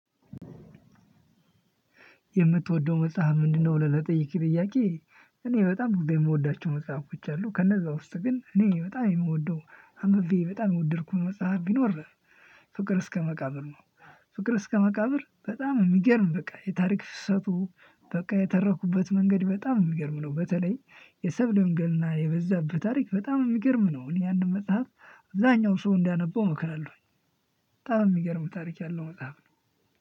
የምትወደው መጽሐፍ ምንድነው? ብለህ ለጠየቅ ጥያቄ እኔ በጣም ብዙ የምወዳቸው መጽሐፎች አሉ ከነዛ ውስጥ ግን እኔ በጣም የምወደው አምብቤ በጣም የወደድኩት መጽሐፍ ቢኖር ፍቅር እስከ መቃብር ነው። ፍቅር እስከ መቃብር በጣም የሚገርም በቃ የታሪክ ፍሰቱ በቃ የተረኩበት መንገድ በጣም የሚገርም ነው። በተለይ የሰብለ ወንጌል እና የበዛበት ታሪክ በጣም የሚገርም ነው። እኔ አንድ መጽሐፍ አብዛኛው ሰው እንዳነበው እመክራለሁኝ። በጣም የሚገርም ታሪክ ያለው መጽሐፍ ነው።